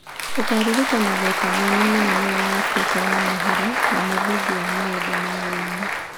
Ũkaaririkanagwo ta mũini mũnene wa Abirika ya mũhuro na mũthingi wa maũndũ ma woini.